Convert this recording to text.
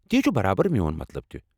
تی چھٗ برابر میون مطلب تہِ ۔